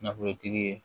Nafolotigi ye